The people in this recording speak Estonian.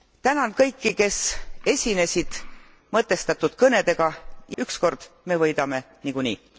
Tänan kõiki, kes esinesid mõtestatud kõnedega ükskord me võidame niikuinii!